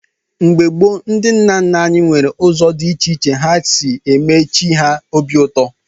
Mgbe gboo, ndị nna nna anyị were ụzọ dị iche iche ha si eme chi ha obi ụtọ.